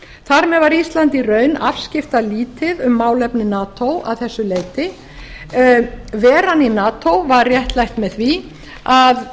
þar með var ísland í raun afskiptalítið um málefni nato að þessu leyti veran í nato var réttlætt með því að